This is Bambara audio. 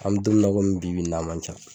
An mɛ don min na i komi bi bi in na a man ca.